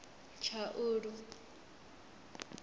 tshaulu